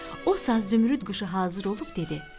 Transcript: O saat Zümrüd quşu hazır olub dedi: